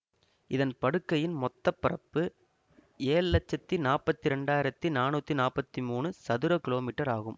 இதன் படுக்கையின் மொத்த பரப்பு ஏழு லட்சத்தி நாற்பத்தி இரண்டு ஆயிரத்தி நானூற்றி நாற்பத்தி மூன்று சதுரகிமீ ஆகும்